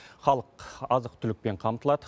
халық азық түлікпен қамтылады